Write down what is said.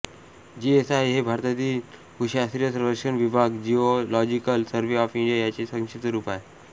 GSI हे भारतीय भुशास्त्रीय सर्वेक्षण विभाग जिओलॉजिकल सर्व्हे ऑफ इंडिया याचे संक्षिप्त रुप आहे